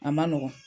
A ma nɔgɔn